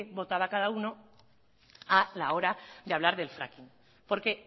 votaba cada uno a la hora de hablar del fracking porque